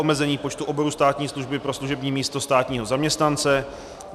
Omezení počtu oborů státní služby pro služební místo státního zaměstnance.